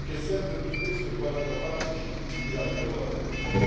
che sempre più spesso riguardano farmaci ritirati poi dal commercio.